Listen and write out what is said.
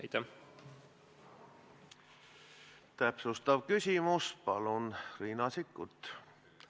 Täpsustav küsimus, palun, Riina Sikkut!